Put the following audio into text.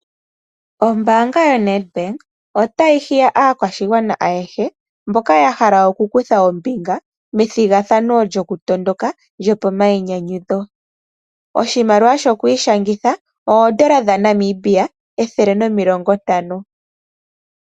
Ombaanga yoNedbank otayi hiya aakwashigwana ayehe mboka ya hala okukutha ombinga methigathano lyokutondoka lyopomainyanyudho. Oshimaliwa shokwiishangitha oondola ethele limwe nomilongo ntano.